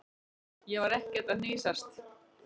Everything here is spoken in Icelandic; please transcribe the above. Ég var ekkert að hnýsast.